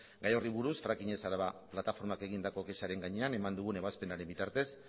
gai horri buruz fracking ez araba plataformak egindako kexaren gainean eman dugun ebazpenaren bitartez